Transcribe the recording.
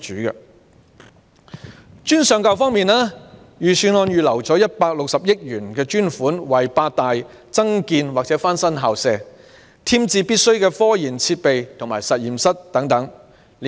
在專上教育方面，預算案預留160億元，為八大院校增建或翻新校舍，添置必須的科研設備及實驗室等。